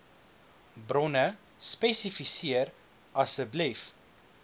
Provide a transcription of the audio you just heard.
bronne spesifiseer asseblief